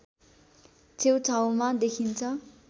छेउछाउमा देखिन्छ